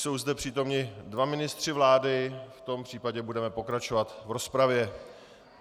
Jsou zde přítomni dva ministři vlády, v tom případě budeme pokračovat v rozpravě.